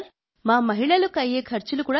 ప్రాకృతిక వ్యవసాయంలో మీకు ఎలాంటి అనుభవం ఉంది